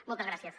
moltes gràcies